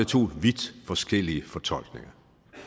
to vidt forskellige fortolkninger